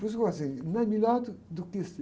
Por isso ficou assim, não é melhor do, do que